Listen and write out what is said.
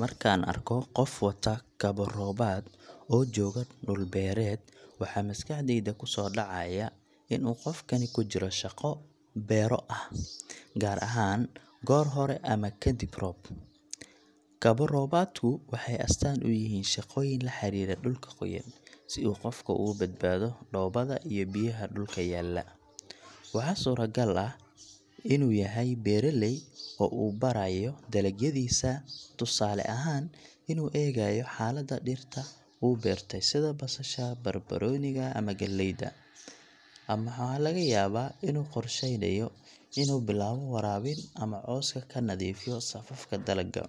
Markaan arko qof wata kabo roobaad oo jooga dhul beereed, waxaa maskaxdayda ku soo dhacaya in uu qofkani ku jiro shaqo beero ah, gaar ahaan goor hore ama kadib roob. Kabo roobaadku waxay astaan u yihiin shaqooyin la xiriira dhulka qoyan, si uu qofku uga badbaado dhoobada iyo biyaha dhulka yaalla. Waxaa suuragal ah inuu beeraley yahay oo uu baarayo dalagyadiisa, tusaale ahaan inuu eegayo xaaladda dhirta uu beertay sida basasha, barbarooniga ama galleyda. Ama waxaa laga yaabaa inuu qorsheynayo inuu bilaabo waraabin ama cawska ka nadiifiyo safafka dalagga.